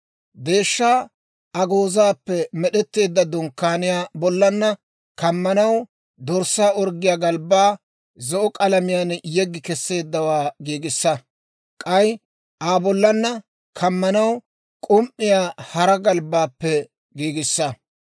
«Deeshshaa agoozaappe med'etteedda dunkkaaniyaa bollanna kammanaw dorssaa orggiyaa galbbaa zo'o k'alamiyaan yeggi kesseeddawaa giigissa; k'ay Aa bollanna kammanaw k'um"iyaa hara galbbaappe giigissa.